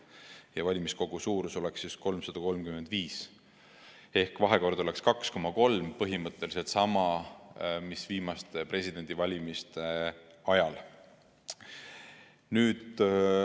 Ja valimiskogu suurus oleks 335 ehk vahekord oleks 2,3 – see on põhimõtteliselt sama, mis viimaste presidendivalimiste ajal.